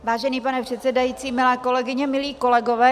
Vážený pane předsedající, milé kolegyně, milí kolegové.